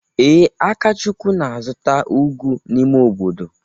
Ee, Akachukwu na-azụta ugu n’ime obodo.